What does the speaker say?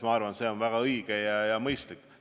Ma arvan, et see on väga õige ja mõistlik.